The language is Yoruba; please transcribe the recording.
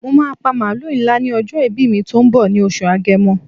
Mo máà pa màlúù ńlá ní ọjọ́ ìbí mi tó ń bọ̀ ní oṣù Agẹmọ.